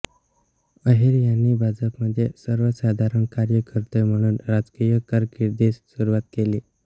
अहिर यांनी भाजपमध्ये सर्वसाधारण कार्यकर्ते म्हणून राजकीय कारकिर्दीस सुरुवात केली